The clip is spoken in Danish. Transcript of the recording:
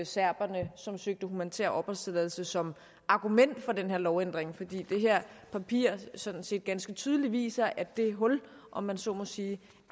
serberne som søgte om humanitær opholdstilladelse som argument for den her lovændring fordi det her papir sådan set ganske tydeligt viser at det hul om man så må sige